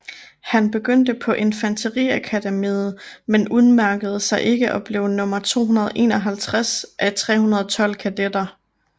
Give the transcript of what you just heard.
Han begyndte på infanteriakademiet men udmærkede sig ikke og blev nummer 251 af 312 kadetter